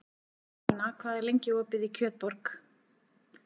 Karólína, hvað er lengi opið í Kjötborg?